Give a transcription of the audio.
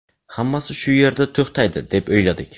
Hammasi shu yerda to‘xtaydi deb o‘yladik.